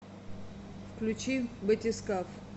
включи батискаф